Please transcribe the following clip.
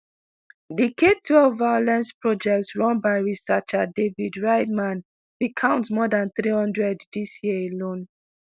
di k-twelve violence project run by researcher david rideman bin count more dan three hundred dis year alone